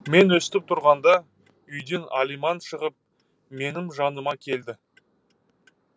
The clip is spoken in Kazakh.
мен өстіп тұрғанда үйден алиман шығып менің жаныма келді